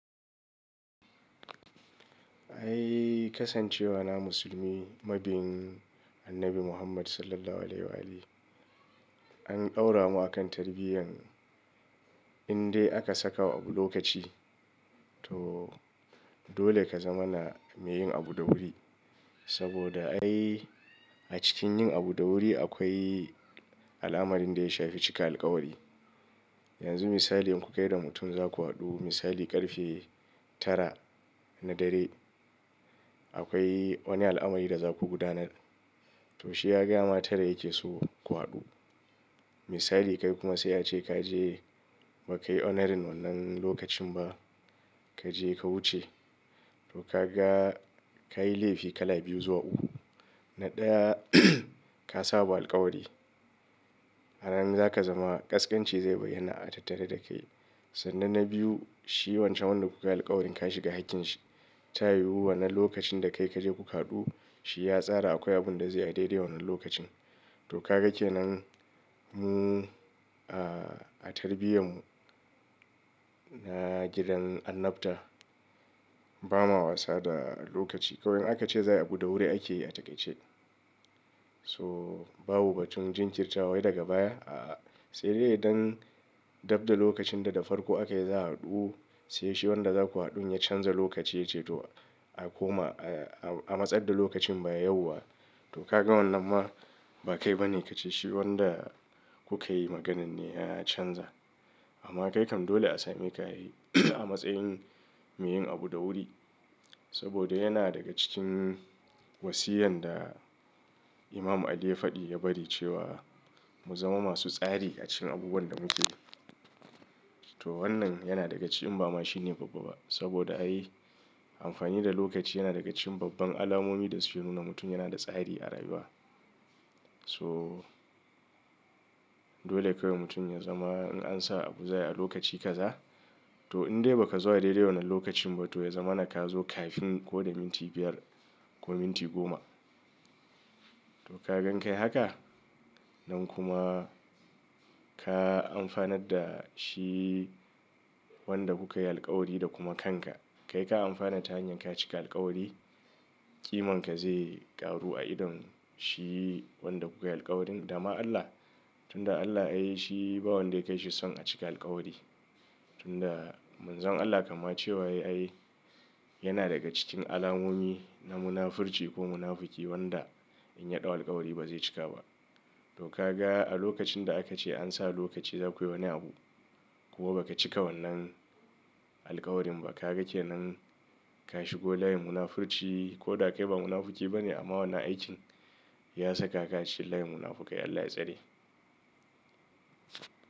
Ai kasancewa na musulmi mabin annabi Muhammad SAW an aura mu akan tarbiyya in dai aka saka wa abu lokaci to dole ka zama na me yin abu da wuri. Saboda ai a cikin yin abu da wuri akwai alamar inda ya shafi cika alkawari. Yanzu misali in ku kai da mutum za ku haɗu misali ƙarfe tara na dare akwai wani al'amari da za ku gudanar. To shi ya gaya ma tara yake so mu haɗu. Misali kai kuma sai ya ce ka je ba ka yi honouring wannan lokacin ba kaje ka wuce ko ka ga ka yi laifi kala biyu zuwa uku. Na ɗaya ka sabo alkawari. Aramin za ka zama kaskanci zai bayyana a tattare da kai sannan na biyu shi wancan wanda kuka yi alkawarin ka shiga hakkin shi. Ta yiwu wannan lokacin da kai kaje ku ka haɗu shi ya tsara akwai abun da zai yi a dai dai wannan lokacin to ka ga ke nan mu a a tarbiyyan mu na gidan annabta ba ma wasa da lokaci. Kawai aka ce za ai abu da wuri ake yi a takaice so babu batun jin kirtawa wai daga baya a'a sai dai idan dab da lokacin da da farko aka yi za a haɗu sai shi wanda za ku haɗun ya canza lokaci yace to a koma a a matsar da lokacin baya yauwa to ka ga wannan ma ba kai ba ne ka ce shi wanda kuka yi maganan ne ya canza. Amma kai kam dole a same ka ai a matsayin me yin abu da wuri saboda yana daga cikin wasiyan da Imam Ali ya faɗi ya bari cewa mu zama masu tsari a cikin abubuwan da muke yi. To wannan yana daga cikin ba ma shine babba ba saboda ai amfani da lokaci yana daga cikin babban alamomi da suke nuna mutum yana da tsari a rayuwa. To dole kawai mutum ya zama in an sa abu za ayi a lokaci ka za to in dai ba ka zo a daidai wannan lokacin ba to ya zama na ka zo kafin ko da minti biyar ko minti goma. To ka ga in kai haka nan kuma ka amfanar da shi wanda kuka yi alkawari da kuma kanka kai ka amfana ta hanyar ka cika alkawari ƙiman ka zai ƙaru a idon shi wanda kuka yi alkawarin da ma Allah tunda Allah ai shi ba wanda ya kai shi son a cika alkawari. Tunda Manzon Allah kamma cewa ya yi ai yana daga cikin alamomi na munafurci ko munafuki wanda in ya ɗau alkawari ba zai cika ba. To ka ga a lokacin da aka ce an sa lokaci za ku yi wani abu kuma ba ka cika wannan alkawarin ba ka ga kenan ka shigo layin munafurci ko da kai ba munafuki ba ne amma wannan aikin ya saka ka a cikin layin munafukai Allah ya tsare.